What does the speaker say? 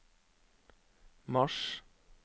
mars